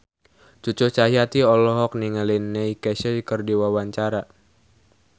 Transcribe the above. Cucu Cahyati olohok ningali Neil Casey keur diwawancara